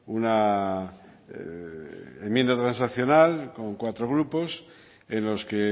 una enmienda transaccional con cuatro grupos en los que